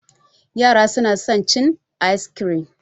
Yara su na son cin ayis kirim